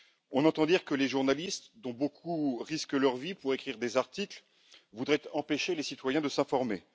On entend dire que les journalistes, dont beaucoup risquent leur vie pour écrire des articles, voudraient empêcher les citoyens de s'informer.